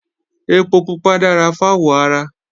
Ẹpo pupa dára fáwọ̀ ara